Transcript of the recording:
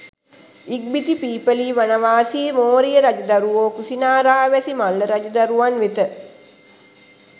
ඉක්බිති පිප්පලීවනවාසී මෝරීය රජදරුවෝ කුසිනාරාවැසි මල්ල රජදරුවන් වෙත